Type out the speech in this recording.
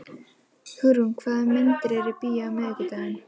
Hugrún, hvaða myndir eru í bíó á miðvikudaginn?